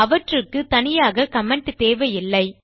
அவற்றுக்கு தனியாக கமெண்ட் தேவையில்லை